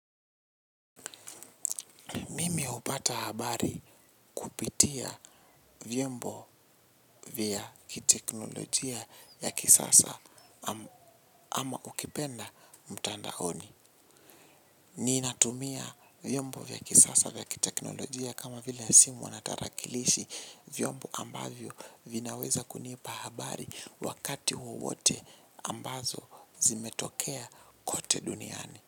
Mimi hupata habari kupitia vyombo vya kiteknolojia ya kisasa ama ukipenda mtandaoni. Ni inatumia vyombo vya kisasa ya kiteknolojia kama vile simu wanatarakilishi vyombo ambavyo vinaweza kunipa habari wakati huu wote ambazo zimetokea kote duniani.